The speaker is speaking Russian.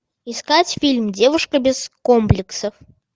искать фильм девушка без комплексов